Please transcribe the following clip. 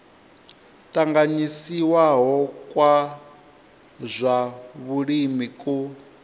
tanganyisiwaho kwa zwa vhulimi ku